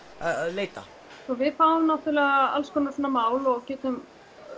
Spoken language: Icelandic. leita við fáum náttúrulega alls konar svona mál og getum